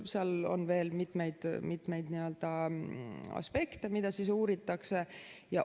Seal on veel mitmeid aspekte, mida uuritakse.